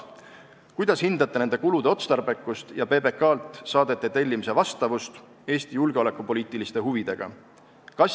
Kuidas hindate nende kulude otstarbekust ja PBK-lt saadete tellimise vastavust Eesti julgeolekupoliitiliste huvidega?